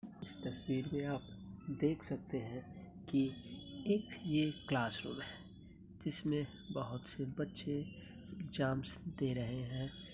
इस तस्वीर में आप देख सकती हैं क एक ये क्लासरूम है जिस मैं बोहत से बच्चे एग्जाम्स दे रहे हैं।